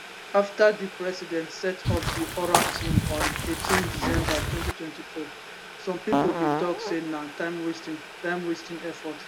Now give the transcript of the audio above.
afta di president set up di oral team on 18 december 2024 some pipo bin tok say na timewasting timewasting effort